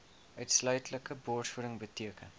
uitsluitlike borsvoeding beteken